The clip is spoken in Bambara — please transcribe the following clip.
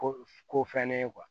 Ko ko fɛn ne ye